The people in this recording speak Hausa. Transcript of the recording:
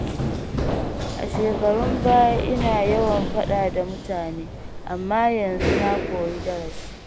A shekarun baya ina yawan faɗa da mutane, amma yanzu na koyi darasi.